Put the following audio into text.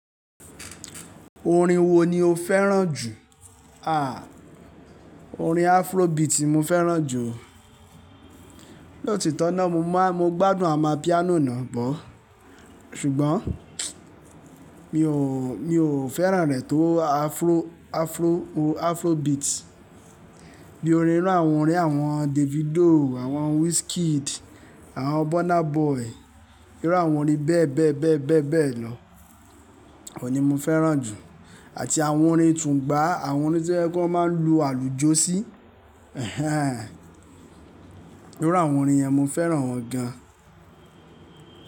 Orin wo ni o fẹ́ràn jù? Àh, orin Afrobeat ni mo fẹ́ràn jù o. Lóòtitọ́ tọ́ náà mo ma, mo gbádùn amapiano nàá bọ̀. Ṣùgbọ́n mi ò, mi ò fẹ́ràn rẹ̀ tó Afro, Afro, Afrobeat. Bí i orin irú àwọn orin àwọn Davido, àwọn Wizkid, àwọn Burna Boy, irú àwọn orin bẹ́ẹ̀ bẹ́ẹ̀ bẹ́ẹ̀ bẹ́ẹ̀ bẹ́ẹ̀ lọ, òun ni mo fẹ́ràn jù. Àti àwọn orin tùn gbà á, àwọn orin tí wọ́n máa ń lu àlùjo sí, ehen hen irú àwọn orin yẹn mo fẹ́ràn wọ́n gan.